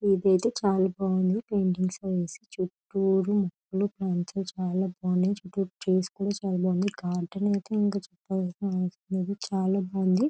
ఇదైతే చాలా బాగుంది పెయింటింగ్స్ అవి వేసి చుట్టురూ మొక్కలు చెట్లు కాటన్ అయితే ఇంకా చెప్పనవసరం లేదు చాలా బాగుంది.